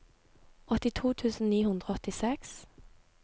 åttito tusen ni hundre og åttiseks